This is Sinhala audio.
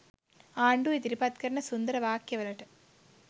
ආණ්ඩුව ඉදිරිපත් කරන සුන්දර වාක්‍යවලට